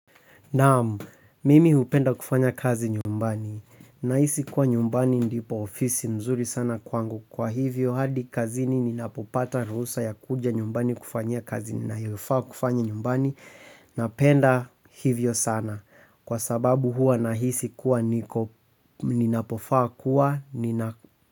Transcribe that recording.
Naamu, mimi hupenda kufanya kazi nyumbani. Nahisi kuwa nyumbani ndipo ofisi mzuri sana kwangu kwa hivyo hadi kazini ninapopata ruhusa ya kuja nyumbani kufanya kazi ninayofaa kufanya nyumbani. Napenda hivyo sana kwa sababu hua nahisi kuwa niko ninapofaa kuwa.